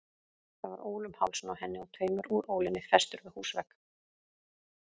Það var ól um hálsinn á henni og taumur úr ólinni festur við húsvegg.